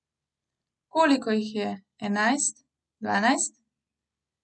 Koliko jih je, enajst, dvanajst?